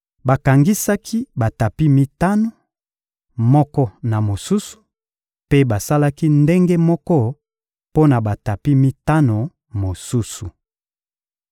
Bakangisaki batapi mitano, moko na mosusu, mpe basalaki ndenge moko mpo na batapi mitano mosusu.